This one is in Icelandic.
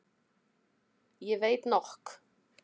Ég veit nokk.